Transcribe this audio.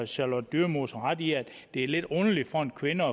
charlotte dyremose ret i at det er lidt underligt for en kvinde